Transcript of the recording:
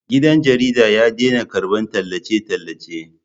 Gidan jaridar ya daina karɓar tallace-tallace